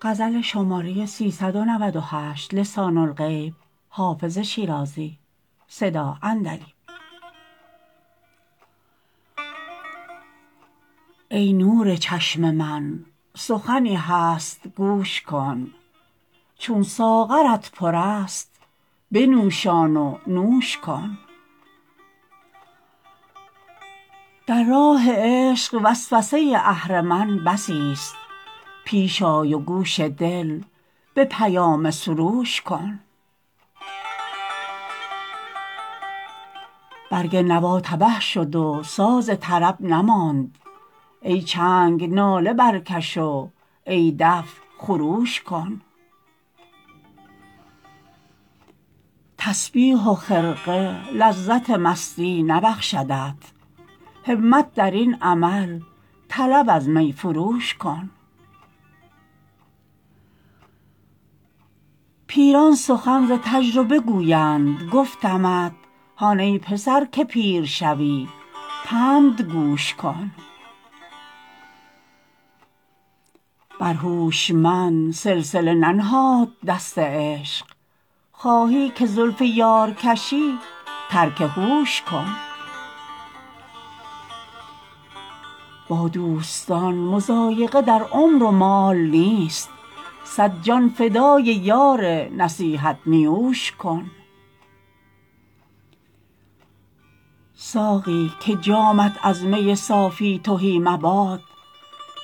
ای نور چشم من سخنی هست گوش کن چون ساغرت پر است بنوشان و نوش کن در راه عشق وسوسه اهرمن بسیست پیش آی و گوش دل به پیام سروش کن برگ نوا تبه شد و ساز طرب نماند ای چنگ ناله برکش و ای دف خروش کن تسبیح و خرقه لذت مستی نبخشدت همت در این عمل طلب از می فروش کن پیران سخن ز تجربه گویند گفتمت هان ای پسر که پیر شوی پند گوش کن بر هوشمند سلسله ننهاد دست عشق خواهی که زلف یار کشی ترک هوش کن با دوستان مضایقه در عمر و مال نیست صد جان فدای یار نصیحت نیوش کن ساقی که جامت از می صافی تهی مباد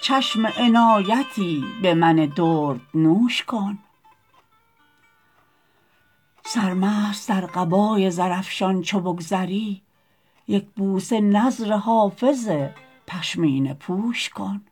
چشم عنایتی به من دردنوش کن سرمست در قبای زرافشان چو بگذری یک بوسه نذر حافظ پشمینه پوش کن